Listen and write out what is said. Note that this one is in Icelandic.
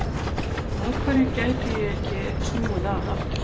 Af hverju gætu ég ekki snúið að aftur?